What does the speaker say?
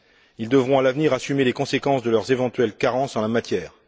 Ils devront, à l'avenir, assumer les conséquences de leurs éventuelles carences en la matière.